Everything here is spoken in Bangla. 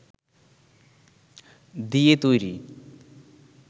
দিয়ে তৈরি